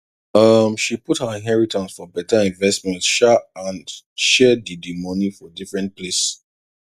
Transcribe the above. um she put her inheritance for better investment um and share d d money for different place